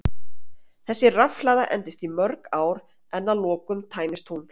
þessi rafhlaða endist í mörg ár en að lokum tæmist hún